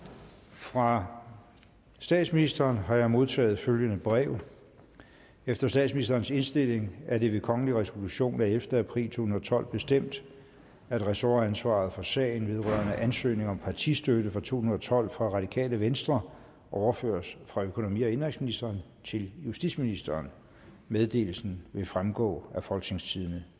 fra statsministeren har jeg modtaget følgende brev efter statsministerens indstilling er det ved kongelig resolution af ellevte april to tusind og tolv bestemt at ressortansvaret for sagen vedrørende ansøgning om partistøtte for to tusind og tolv fra radikale venstre overføres fra økonomi og indenrigsministeren til justitsministeren meddelelsen vil fremgå af folketingstidende